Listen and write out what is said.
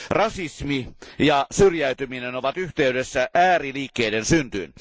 Rasismi ja syrjäytyminen ovat yhteydessä ääriliikkeiden syntyyn.